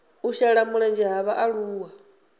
u shela mulenzhe ha vhaaluwa